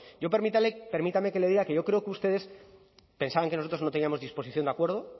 yo permítame que le diga que yo creo que ustedes pensaban que nosotros no teníamos disposición de acuerdo